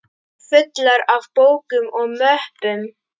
Fullar af bókum og möppum.